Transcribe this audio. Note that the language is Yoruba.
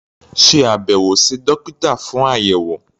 Ṣe àbẹ̀wò sí dókítà fún àyẹ̀wò.